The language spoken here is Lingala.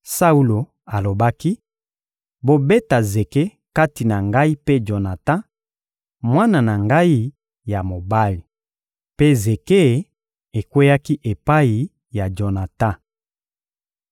Saulo alobaki: «Bobeta zeke kati na ngai mpe Jonatan, mwana na ngai ya mobali.» Mpe zeke ekweyaki epai ya Jonatan.